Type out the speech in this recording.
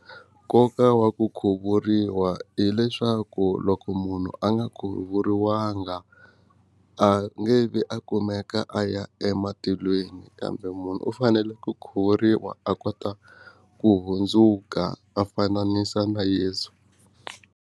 Nkoka wa ku khuvuriwa hileswaku loko munhu a nga khuvuriwanga a nge vi a kumeka a ya ematilweni kambe munhu u fanele ku khuvuriwa a kota ku hundzuka a fananisa na yeso.